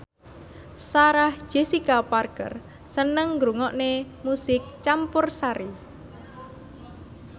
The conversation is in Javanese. Sarah Jessica Parker seneng ngrungokne musik campursari